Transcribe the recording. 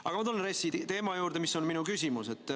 Aga ma tulen RES-i teema juurde, mille kohta ma küsin.